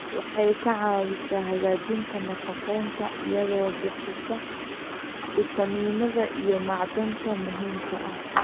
Waxay ka caawisaa hagaajinta nafaqeynta iyadoo bixisa fiitamiinada iyo macdanta muhiimka ah.